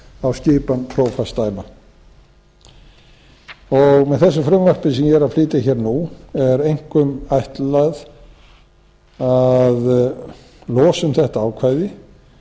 á skipan prófastsdæma með þessu frumvarpi sem ég er að flytja hér nú er einkum ætlað að losa um þetta ákvæði